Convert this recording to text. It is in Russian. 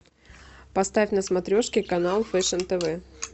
поставь на смотрешке канал фэшн тв